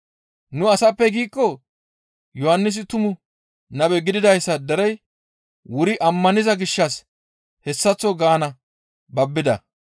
‹Nu asappe› giikko» Yohannisi tumu nabe gididayssa derey wuri ammaniza gishshas hessaththo gaana babbida.